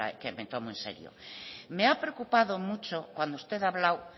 me tomo en serio me ha preocupado mucho cuando usted ha hablado